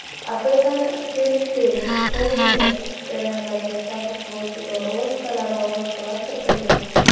asosan periferik xolinergik jarayonlarga ta’sir qiluvchi dori vositalari va boshqalar kiritilgan.